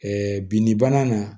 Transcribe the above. binni bana na